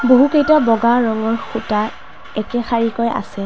বহুকেইটা বগা ৰঙৰ খুঁটা একে শাৰীকৈ আছে।